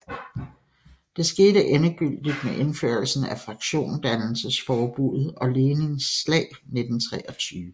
Det skete endegyldigt med indførelsen af fraktionsdannelsesforbuddet og Lenins slag 1923